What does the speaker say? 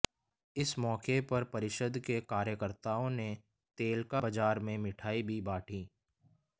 इस मौके पर परिषद के कार्यकर्ताओं ने तेलका बाजार में मिठाई भी बांटी